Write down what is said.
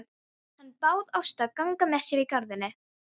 Hann bað Ástu að ganga með sér í garðinn.